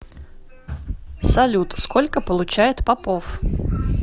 салют сколько получает попов